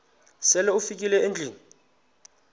sele ufikile endlwini